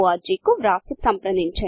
org కువ్రాసిసంప్రదించండి